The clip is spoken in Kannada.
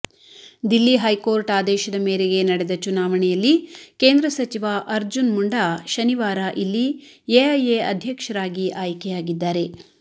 ದಿಲ್ಲಿ ಹೈಕೋರ್ಟ್ ಆದೇಶದ ಮೇರೆಗೆ ನಡೆದ ಚುನಾವಣೆಯಲ್ಲಿ ಕೇಂದ್ರ ಸಚಿವ ಅರ್ಜುನ್ ಮುಂಡಾ ಶನಿವಾರ ಇಲ್ಲಿ ಎಎಐ ಅಧ್ಯಕ್ಷರಾಗಿ ಆಯ್ಕೆಯಾಗಿದ್ದಾರೆ